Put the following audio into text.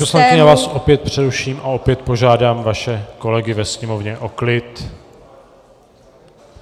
Paní poslankyně, já vás opět přeruším a opět požádám vaše kolegy ve sněmovně o klid.